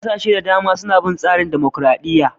Kasashe da dama suna bin tsarin dimokuradiyya.